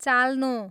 चाल्नो